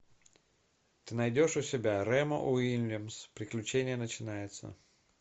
ты найдешь у себя ремо уильямс приключение начинается